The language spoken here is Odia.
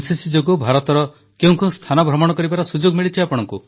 ଏନସିସି ଯୋଗୁଁ ଭାରତର କେଉଁ କେଉଁ ସ୍ଥାନ ଭ୍ରମଣ କରିବାର ସୁଯୋଗ ମିଳିଛି